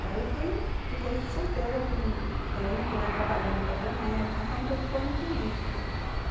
Daí eu fui, fiquei solteira por um tempo, trabalhando com a Dianética, só me preocupando com isso, né.